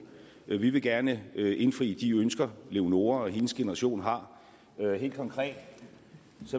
vi vil gerne indfri de ønsker leonora og hendes generation har helt konkret